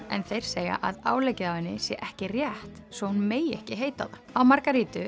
en þeir segja að áleggið á henni sé ekki rétt svo hún megi ekki heita það á